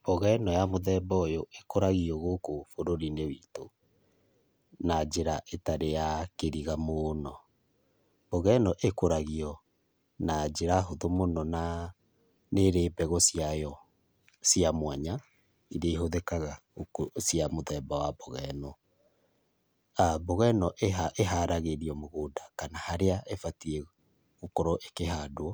Mboga ĩno ya mũthemba ũyũ, ĩkũragio gũkũ bũrurinĩ witũ, na njĩra ĩtarĩ ya kĩriga mũno. Mboga ĩno ĩkũragio na njĩra hũthũ mũno na nĩrĩ mbegũ ciayo cia mwanya iria cihũthĩkaga cia mboga ĩno. Mboga ĩno ĩharagĩrĩrio mũgũnda kana harĩa ĩbatie gũkorwo ĩkĩhandwo